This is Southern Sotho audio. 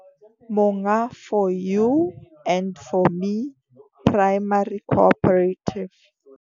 Monga 4 U and 4 Me Primary Cooperative